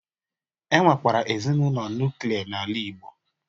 E nwekwara ezinaụlọ nuklia n'ala igbo